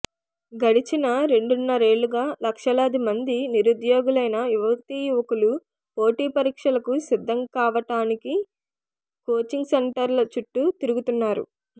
గడచిన రెండున్నరేళ్లుగా లక్షలాది మంది నిరుద్యోగులైన యువతీయువకులు పోటీపరీక్షలకు సిద్ధం కావడానికి కోచింగ్ సెంటర్ల చుట్టూ తిరుగుతున్నా రు